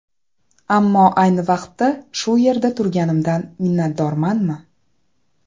Ammo ayni vaqtda shu yerda turganimdan minnatdormanmi?